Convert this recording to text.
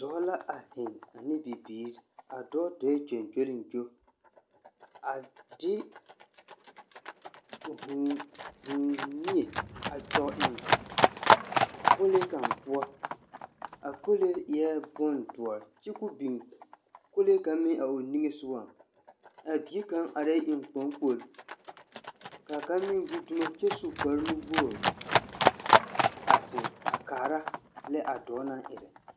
Dɔɔ la a heŋ ane bibiiri. A dɔɔ dɔɔɛ gyoŋgyoliŋgyo. A de, o hũũ, hũũũ mie a kyɔg eŋ kolee kaŋ poɔ. A kolee eɛ bondoɔr kyo ko biŋ kolee kaŋ meŋ a o niŋesogaŋ. A bie kaŋ arɛɛ eŋkpoŋkpol. Kaa kaŋ meŋ gbi dumo kyɛ su kparenuwogri a zeŋ, a kaara, lɛ a dɔɔ naŋ erɛ.